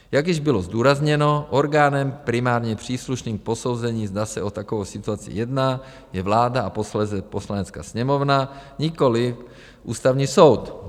Jak již bylo zdůrazněno orgánem primárně příslušným k posouzení, zda se o takovou situaci jedná, je vláda a posléze Poslanecká sněmovna, nikoliv Ústavní soud.